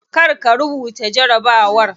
Kar ka rubuta jarabawar.